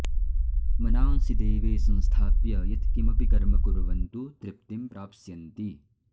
मनांसि देवे संस्थाप्य यत्किमपि कर्म कुर्वन्तु तृप्तिं प्राप्स्यन्ति